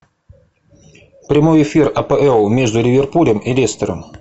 прямой эфир апл между ливерпулем и лестером